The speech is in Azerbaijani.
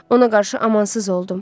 Ona qarşı amansız oldum.